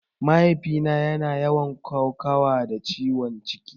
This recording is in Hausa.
Mahaifina yana yawan kokawa da ciwon ciki